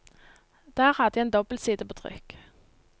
Der hadde jeg en dobbelside på trykk.